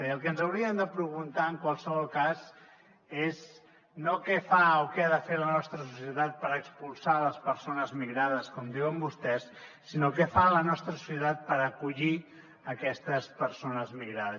i el que ens hauríem de preguntar en qualsevol cas és no què fa o què ha de fer la nostra societat per expulsar les persones migrades com diuen vostès sinó què fa la nostra societat per acollir aquestes persones migrades